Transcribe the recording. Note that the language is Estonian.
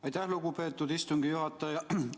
Aitäh, lugupeetud istungi juhataja!